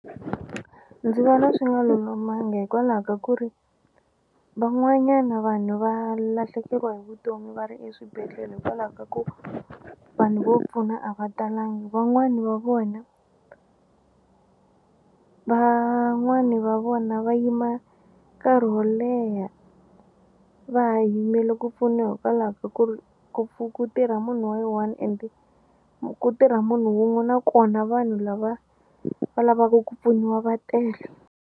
Ndzi vona swi nga lulamanga hikwalaho ka ku ri van'wanyana vanhu va lahlekeriwa hi vutomi va ri eswibedhlele hikwalaho ka ku vanhu vo pfuna a va talangi van'wani va vona van'wani va vona va yima nkarhi wo leha va ha yimele ku pfuniwa hikwalaho ka ku ri ku ku tirha munhu wa yi one ende ku tirha munhu un'we na kona vanhu lava va lavaku ku pfuniwa va tele.